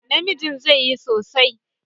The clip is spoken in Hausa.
Namijin zai yi sosai.